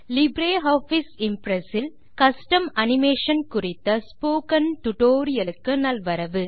LibreOffice Impress இல் custom animation குறித்த spoken tutorial க்கு நல்வரவு